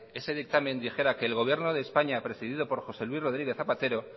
ese dictamen dijera que el gobierno de españa presidido por josé luis rodríguez zapatero